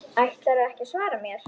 Ætlarðu ekki að svara mér?